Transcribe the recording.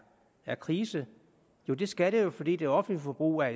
er krise jo det skal det jo fordi det offentlige forbrug er